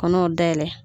Kɔnɔw dayɛlɛ